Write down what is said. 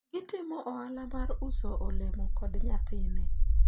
gitimo ohala mar uso olemo kod nyathine